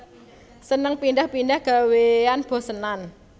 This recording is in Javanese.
Seneng pindhah pindhah gawéan bosenan